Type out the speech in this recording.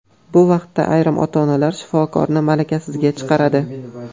Bu vaqt ichida ayrim ota-onalar shifokorni malakasizga chiqaradi.